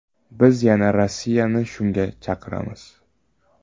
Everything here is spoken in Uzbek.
Biz yana Rossiyani shunga chaqiramiz.